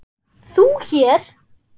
ÞÚ HÉR?